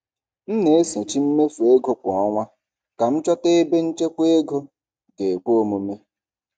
M na-esochi mmefu ego kwa ọnwa ka m chọta ebe nchekwa ego ga-ekwe omume.